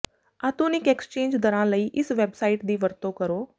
ਆਧੁਨਿਕ ਐਕਸਚੇਂਜ ਦਰਾਂ ਲਈ ਇਸ ਵੈਬਸਾਈਟ ਦੀ ਵਰਤੋਂ ਕਰੋ